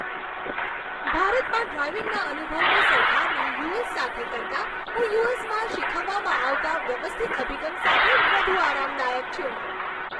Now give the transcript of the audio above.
ભારતમાં ડ્રાઇવિંગના અનુભવની સરખામણી યુ.એસ. સાથે કરતાં, હું યુ.એસ.માં શીખવવામાં આવતા વ્યવસ્થિત અભિગમ સાથે વધુ આરામદાયક છું.